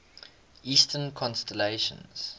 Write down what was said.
eastern constellations